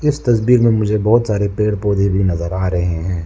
इस तस्वीर में मुझे बहुत सारे पेड़ पौधे भी नजर आ रहे हैं।